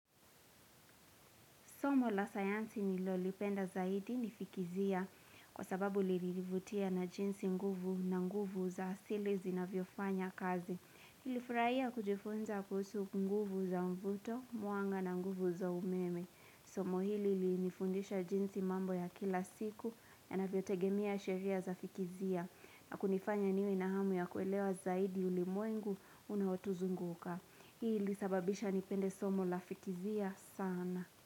Somo la sayansi nilolipenda zaidi ni fikizia kwa sababu lirivutia na jinsi nguvu na nguvu za asili zinavyofanya kazi. Nilifurahia kujifunza kuusu nguvu za mvuto, mwanga na nguvu za umeme. Somo hili linifundisha jinsi mambo ya kila siku yanavyotegemea sheria za fikizia na kunifanya niwe na hamu ya kuelewa zaidi ulimwengu unaotuzunguka. Hii ilisababisha nipende somo la fikizia sana.